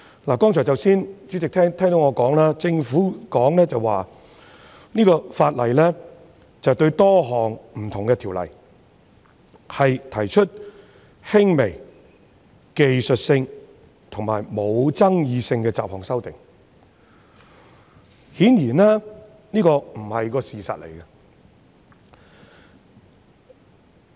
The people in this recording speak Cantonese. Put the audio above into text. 代理主席，政府說《條例草案》對多項不同的條例提出輕微、技術性和無爭議的雜項修訂，這顯然不是事實。